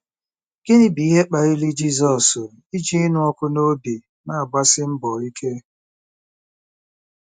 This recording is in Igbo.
Gịnị bụ ihe kpaliri Jizọs iji ịnụ ọkụ n'obi na-agbasi mbọ ike?